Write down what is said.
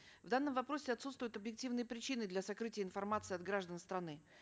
в данном вопросе отсутствуют объективные причины для сокрытия информации от граждан страны